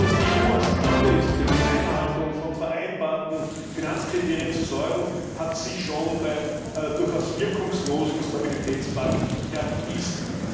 Und dass die EU außerstande ist, für die Einhaltung von vereinbarten Finanzkriterien zu sorgen, hat sich schon beim durchaus wirkungslosen Stabilitätspakt erwiesen.